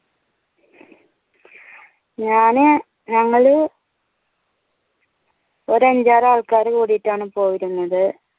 ഞാന് ഞങ്ങള് ഒരഞ്ചാറാൾകാർ കൂടീട്ടാണ് പോയിരുന്നത്